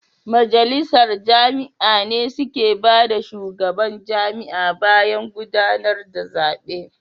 Majalisar jami'a ne suke nada shugaban jami'a bayan gudanar da zabe.